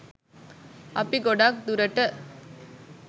අපි ගොඩක් දුරට